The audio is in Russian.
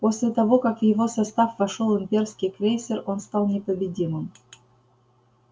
после того как в его состав вошёл имперский крейсер он стал непобедимым